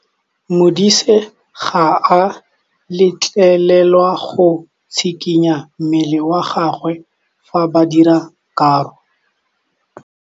Modise ga a letlelelwa go tshikinya mmele wa gagwe fa ba dira karô.